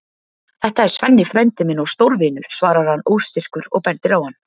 Þetta er Svenni frændi minn og stórvinur, svarar hann óstyrkur og bendir á hann.